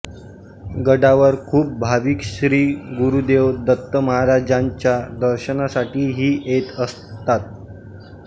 गडावर खूप भाविक श्री गुरुदेव दत्तमहाराजांच्या दर्शनासाठी ही येत असतात